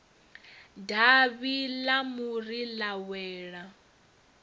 davhi ḽa muri ḽa wela